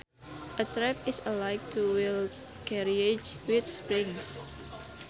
A trap is a light two wheeled carriage with springs